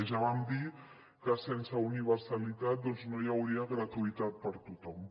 ja vam dir que sense universalitat doncs no hi hauria gratuïtat per a tothom